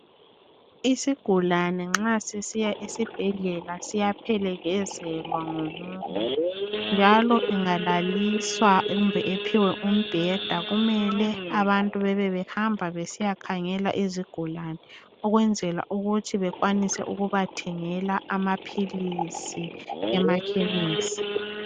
Isigulane nxa sisiya esibhedlela siyaphelekezelwa ngomunye , njalo engalaliswa kumbe ephiwe umbheda kumele abantu bebe behamba besiyakhangela izigulane. Ukwenzela ukuthi bekwanise ukubathengela amaphilisi emakhemisi. Q